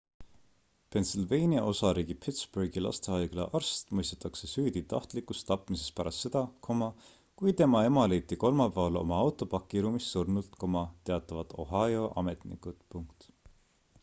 pennsylvania osariigi pittsburghi lastehaigla arst mõistetakse süüdi tahtlikus tapmises pärast seda kui tema ema leiti kolmapäeval oma auto pakiruumist surnult teatavad ohio ametnikud